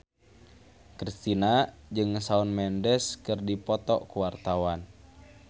Kristina jeung Shawn Mendes keur dipoto ku wartawan